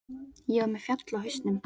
Ég var með fjall á hausnum.